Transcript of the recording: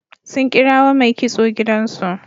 Sun kirawo mai kitso gidansu.